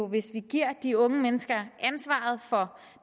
hvis vi giver de unge mennesker ansvaret for